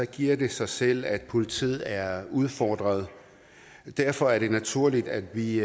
giver det sig selv at politiet er udfordret og derfor er det naturligt at vi